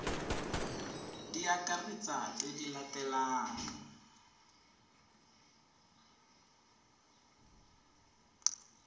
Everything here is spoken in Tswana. di akaretsa tse di latelang